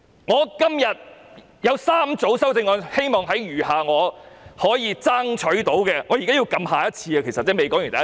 我今天提出3組修正案，希望在餘下我能爭取到的發言時間裏解釋。